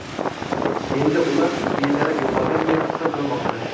Endi ular bedarak yo‘qolgan deb hisoblanmoqda.